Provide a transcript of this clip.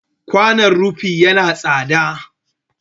Kwanon rufi ya na tsatsa.